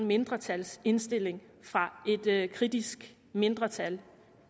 mindretalsindstilling fra et kritisk mindretal